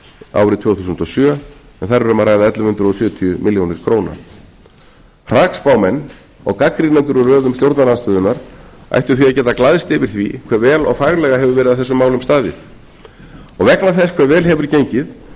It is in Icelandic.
árið tvö þúsund og sjö en þar er um að ræða ellefu hundruð sjötíu milljónum króna hrakspámenn og gagnrýnendur úr röðum stjórnarandstöðunnar ættu því að geta glaðst yfir því vhe vel og faglega hefur verið að þessum málum staðið og vegna þess hve vel hefur gengið